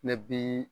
Ne bi